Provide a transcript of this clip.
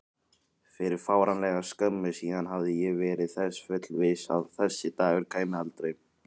Fyrir fáránlega skömmu síðan hafði ég verið þess fullviss að þessi dagur kæmi aldrei.